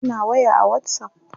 suna waya a Whatsapp